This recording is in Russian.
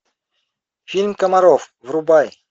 фильм комаров врубай